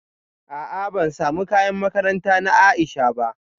A'a ban samu kayan makaranta na Aisha ba